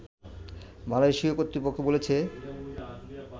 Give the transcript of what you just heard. মালয়েশীয় কর্তৃপক্ষ বলেছে